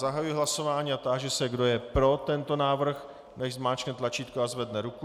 Zahajuji hlasování a táži se, kdo je pro tento návrh, nechť zmáčkne tlačítko a zvedne ruku.